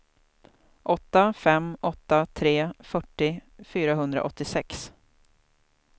åtta fem åtta tre fyrtio fyrahundraåttiosex